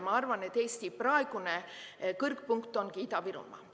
Ma arvan, et Eesti praegune kõrgpunkt ongi Ida-Virumaa.